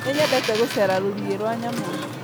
Nĩnyendete gũcera rũriĩ rwa nyamũ